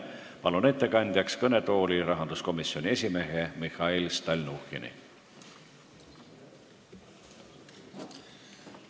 Palun ettekandeks kõnetooli rahanduskomisjoni esimehe Mihhail Stalnuhhini!